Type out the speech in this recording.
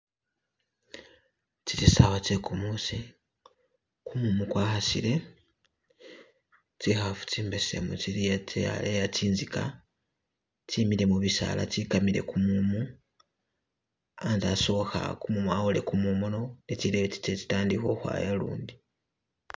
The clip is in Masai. Tsili sawa tse kumuusi, kumumu kwa khasile, tsikhafu tsi mbesemu tsili'a tsaleya tsintsika tsemile mubisaala tsekamile kumumu, antse asokhe awole kumumu no ne tsileyo tsitandikhe ukhwaya lundi.